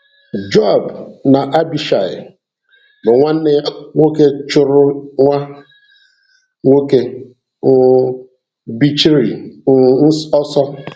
Joab na Abishai, bú nwanne ya nwoke chụrụ nwa nwoke um Bichri um ọsọ.